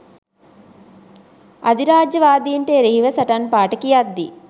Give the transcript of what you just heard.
අධිරාජ්‍යවාදීන්ට එරෙහිව සටන් පාඨ කියද්දී